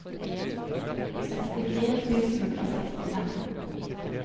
sekstifire tusen og sekstifem